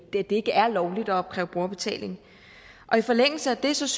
det ikke er lovligt at opkræve brugerbetaling i forlængelse af det synes